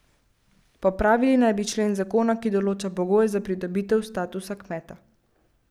Popravili naj bi člen zakona, ki določa pogoje za pridobitev statusa kmeta.